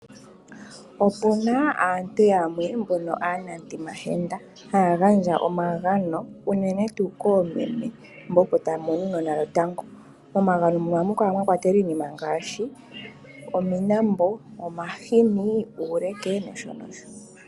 Opuna aantu yamwe mbono aanamutimahenda. Haya gandja omagano unene tuu koomeme mbo opo taya mono uunona lwotango. Momagano muno ohamu kala mwakwatelwa iinima ngaashi omiinambo, omahini uuleke nosho nosho.